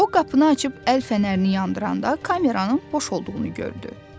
O qapını açıb əl fənərini yandıranda kameranın boş olduğunu gördü.